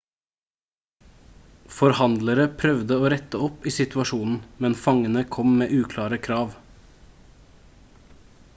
forhandlere prøvde å rette opp i situasjonen men fangene kom med uklare krav